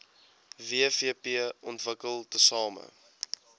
wvp ontwikkel tesame